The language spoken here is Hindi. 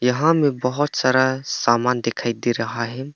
यहां में बहुत सारा सामान दिखाई दे रहा है।